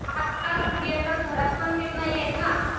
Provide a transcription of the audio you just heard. आजकाल स्त्रिया तर घरात पण सेफ नाहीयेत ना.